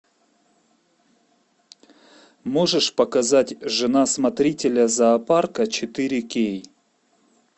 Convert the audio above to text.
можешь показать жена смотрителя зоопарка четыре кей